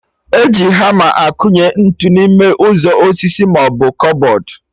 E ji hama akụnye ntụ n'ime ụzọ osisi maọbụ kụbọd